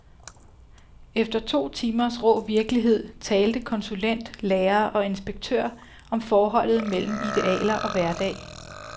Efter to timers rå virkelighed talte konsulent, lærere og inspektør om forholdet mellem idealer og hverdag.